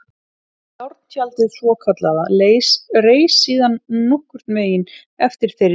Járntjaldið svokallaða reis síðan nokkurn veginn eftir þeirri skiptingu.